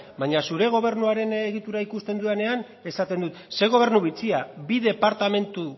baina zure gobernuaren egitura ikusten dudanean esaten dut ze gobernu bitxia bi departamentu